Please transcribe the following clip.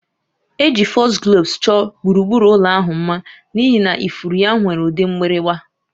Eji Foxgloves chọọ gburugburu ụlọ ahụ mma n'ihi na ifuru ya nwere ụdị mgbịrịgba